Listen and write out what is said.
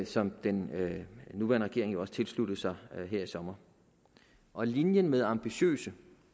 som den nuværende regering jo også tilsluttede sig her i sommer og linjen med ambitiøse